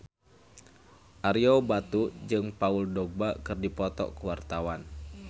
Ario Batu jeung Paul Dogba keur dipoto ku wartawan